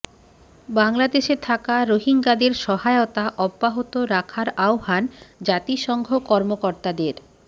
বাংলাদেশে থাকা রোহিঙ্গাদের সহায়তা অব্যাহত রাখার আহ্বান জাতিসংঘ কর্মকর্তাদের